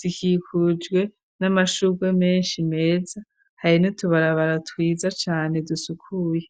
zikikujwe n'amashurwe menshi meza, hari n'utubarabara twiza cane dusukuye.